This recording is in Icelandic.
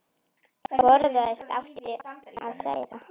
Forðast átti að særa aðra.